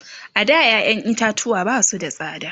a da ƴaƴan itatuwa Basu da tsada